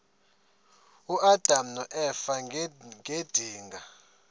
uadam noeva ngedinga